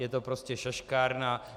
Je to prostě šaškárna.